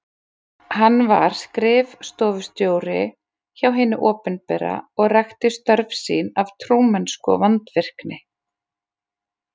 Hann var skrif- stofustjóri hjá hinu opinbera og rækti störf sín af trúmennsku og vandvirkni.